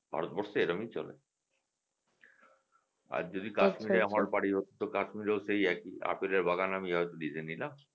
ভারত বর্ষে এরমই চলে আর যদি Kashmir রে আমার বাড়ি হত Kashmir রে ও সেই একই আপেলের বাগান আমি নিলাম